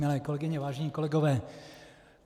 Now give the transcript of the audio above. Milé kolegyně, vážení kolegové.